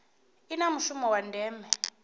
i na mushumo wa ndeme